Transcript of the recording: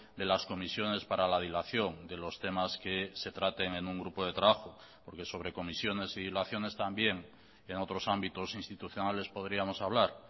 de las comisiones para la dilación de los temas que se traten en un grupo de trabajo porque sobre comisiones y dilaciones también en otros ámbitos institucionales podríamos hablar